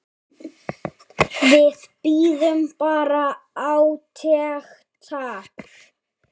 Við bíðum bara átekta.